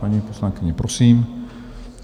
Paní poslankyně, prosím.